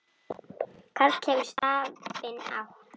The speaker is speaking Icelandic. Karl hefur stafinn átt.